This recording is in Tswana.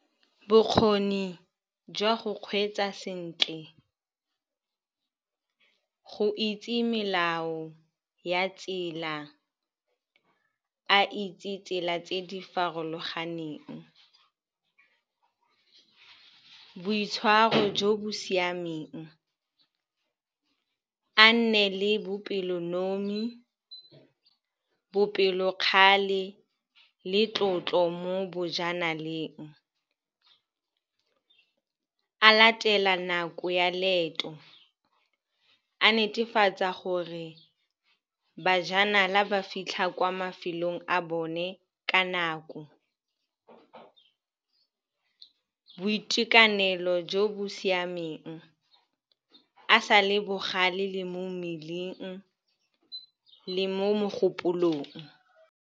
Bokgoni jwa go kgweetsa sentle, go itse melao ya tsela, a itse tsela tse di farologaneng. Boitshwaro jo bo siameng, a nne le bopelonomi, bopelokgale le tlotlo mo bojanaleng. A latela nako ya leeto, a netefatsa gore bajanala ba fitlha kwa mafelong a bone ka nako. Boitekanelo jo bo siameng, a sa le bogale le mo mmeleng le mo mogopolong.